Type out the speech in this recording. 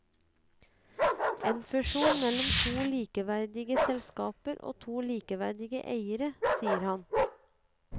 En fusjon mellom to likeverdige selskaper og to likeverdige eiere, sier han.